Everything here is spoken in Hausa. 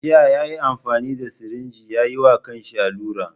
Jiya yayi amfani da sirinji ya yiwa kansa allura.